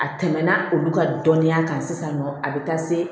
A tɛmɛna olu ka dɔnniya kan sisan nɔ a bɛ taa se